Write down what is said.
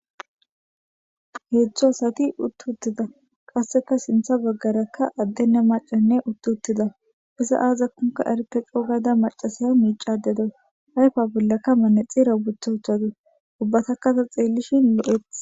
Hedzdzu asati utti uttida qasseka sinththa bagaarakka addenne maccaynne utti uttida; iza azakonka erete ixikoka coo gaada maccashiya miicayda dawus; ayfa bollanka manaxire woththa uttadus; ubbatakka ta xeelishin lo'etees.